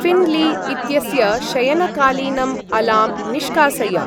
ऴिन्ली इत्यस्य शयनकालीनम् अलार्म् निष्कासय।